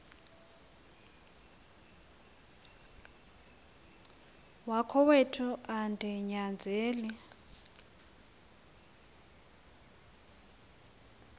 wakowethu andi nyanzeli